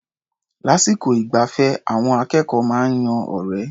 Lásìkò ìgbafẹ́, àwọn akẹ́kọ̀ó máa ń yan ọ̀rẹ́.